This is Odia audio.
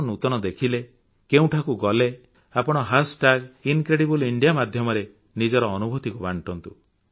କଣ ନୂତନ ଦେଖିଲେ କେଉଁଠାକୁ ଗଲେ ଆପଣ ଟ୍ୟାଗ ଇନକ୍ରେଡିବଲ୍ ଇଣ୍ଡିଆ ମାଧ୍ୟମରେ ନିଜର ଅନୁଭୂତିକୁ ବାଣ୍ଟନ୍ତୁ